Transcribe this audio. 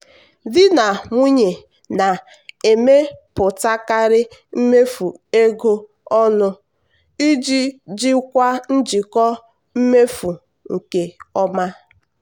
di na nwunye na-emepụtakarị mmefu ego ọnụ iji jikwaa njikọ mmefu nke ọma.